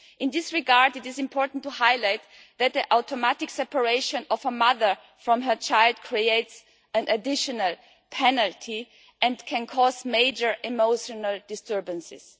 In this regard, it is important to highlight that the automatic separation of a mother from her child creates an additional penalty and can cause major emotional disturbances.